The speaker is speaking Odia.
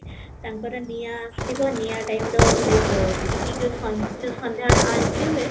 ତାଙ୍କର ନିଆଁ ଆସିବ ନିଆଁ typeର ଏଇ ଯୋଉ ସଞ୍ଜ ସନ୍ଧ୍ୟାବେଳେ ଆଳତି ହୁଏ